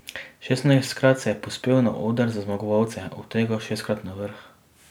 Šestnajstkrat se je povzpel na oder za zmagovalce, od tega šestkrat na vrh.